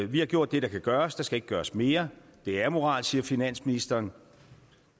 vi har gjort det der kan gøres der skal ikke gøres mere det er amoralsk siger finansministeren